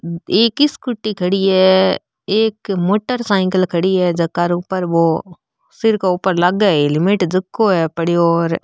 एक स्कूटी खड़ी है एक मोटर साइकिल खड़ी है झक आर ऊपर वो सिर के ऊपर लाग हेल्मेट झको है र पड़ो --